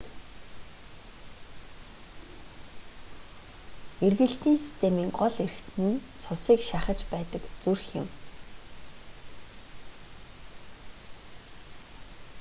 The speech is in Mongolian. эргэлтийн системийн гол эрхтэн нь цусыг шахаж байдаг зүрх юм